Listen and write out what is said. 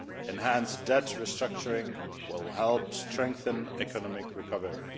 Enhanced debt restructuring will help to strengthen economic recovery.